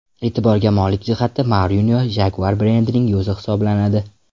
E’tiborga molik jihati, Mourinyo Jaguar brendining yuzi hisoblanadi.